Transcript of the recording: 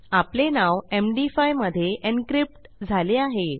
आपले नाव एमडी5 मधे एन्क्रिप्ट झाले आहे